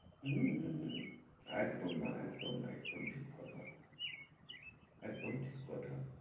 উম উম উম একদম না, একদম না, একদম ঠিক কথা একদম ঠিক কথা।